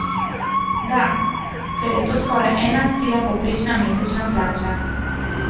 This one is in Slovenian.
Da, ker je to skoraj ena cela povprečna mesečna plača.